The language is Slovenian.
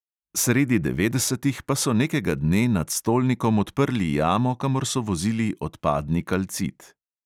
Sredi devetdesetih pa so nekega dne nad stolnikom odprli jamo, kamor so vozili odpadni kalcit.